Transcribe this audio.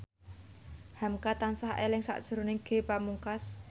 hamka tansah eling sakjroning Ge Pamungkas